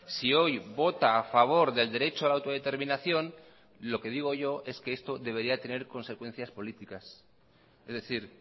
si hoy vota a favor del derecho a la autodeterminación lo que digo yo es que esto debería tener consecuencias políticas es decir